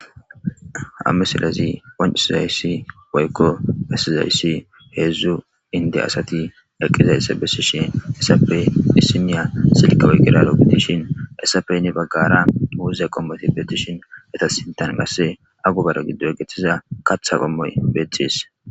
Ha misilazi onciizayssi woykko bessizayssi heedzdzu inde asati dhaqqizayssa bessi shin essape isiniya silkawey giralo bedishin essapey ni baggara muuze qommoti betishin eta sintan qasse a gubara giddo egeththiza katha qommoy beettxis